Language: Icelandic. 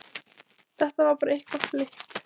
Þetta var bara eitthvað flipp.